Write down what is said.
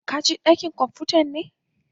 ka je dakin kwamfuta be?